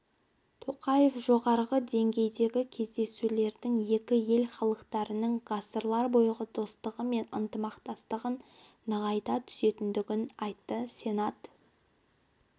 тоқаев жоғары деңгейдегі кездесулердің екі ел халықтарының ғасырлар бойғы достығы мен ынтымақтастығын нығайта түсетінін айтты сенат